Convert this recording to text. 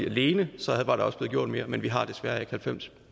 alene var der også blev gjort mere men vi har desværre ikke halvfems